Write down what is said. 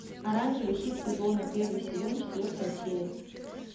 оранжевый хит сезона первый сезон четвертая серия